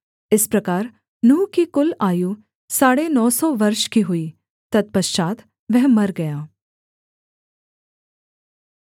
इस प्रकार नूह की कुल आयु साढ़े नौ सौ वर्ष की हुई तत्पश्चात् वह मर गया